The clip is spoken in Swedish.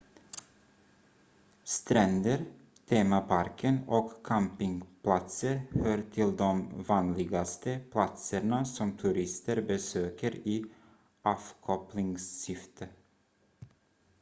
stränder temaparker och campingplatser hör till de vanligaste platserna som turister besöker i avkopplingssyfte